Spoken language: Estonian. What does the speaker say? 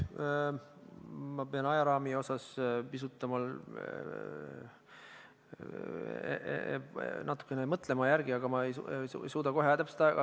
Ajaraami osas ma pean pisut mõtlema, ma ei suuda kohe täpset aega öelda.